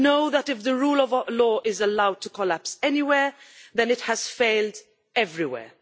We know that if the rule of law is allowed to collapse anywhere then it has failed everywhere.